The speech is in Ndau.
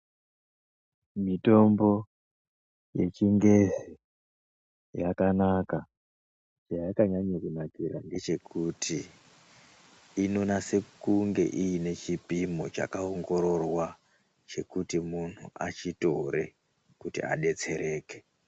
Mitombo yechingezi yakanaka. Chayakanyanya kunakira ndechekuti inonase kunge inechipimo chakaongororwa kuti muntu achitore adetsereke.